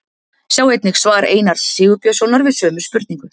Sjá einnig svar Einars Sigurbjörnssonar við sömu spurningu.